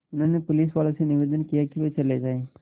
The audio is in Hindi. उन्होंने पुलिसवालों से निवेदन किया कि वे चले जाएँ